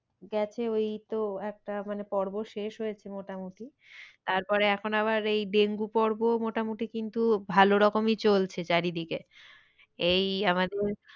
গেছে ওই তো একটা মানে পর্ব শেষ হয়েছে মোটামুটি তারপরে এখন আবার এই ডেঙ্গু পর্ব মোটামুটি কিন্তু ভালো রকমই চলছে চারিদিকে। এই আমাদের,